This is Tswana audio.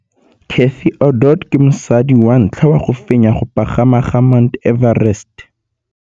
Cathy Odowd ke mosadi wa ntlha wa go fenya go pagama ga Mt Everest.